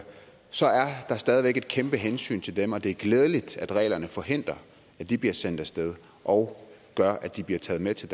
så er der stadig væk et kæmpe hensyn til dem og det er glædeligt at reglerne forhindrer at de bliver sendt af sted og gør at de bliver taget med til